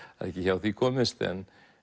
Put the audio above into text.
það er ekki hjá því komist en